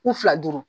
U fila duuru